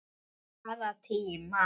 Bara tíma